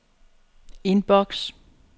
inbox